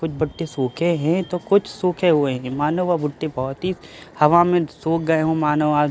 कुछ बट्टे सूखे हैं तो कुछ सूखे हुए है मानों वह भुट्टे बहुत ही हवा में सूख गये हो मानों आ के --